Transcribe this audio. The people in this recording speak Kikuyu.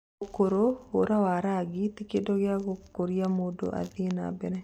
ũkũrũ, hũra na rangi ti kĩndũ gĩa kũgiria mũndũ athiĩ na mbere.